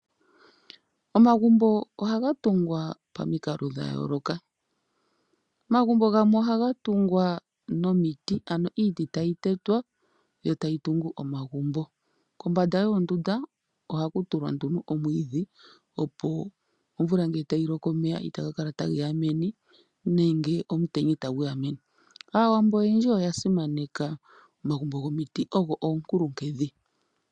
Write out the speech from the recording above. Omagumbo ohaga tungwa pomikalo dha yooloka. Omagumbo gamwe ohaga tungwa nomiti, ano iiti tayi tetwa yo tayi tungu omagumbo. Kombanda yoondunda ohaku tulwa nduno omwiidhi opo omvula ngele tayi loko omeya itaga kala ta geya meni, nenge omutenya itagu ya meni. Aawambo oyendji oya simaneka omagumbo gomiti, ogo oonkulunkedhi.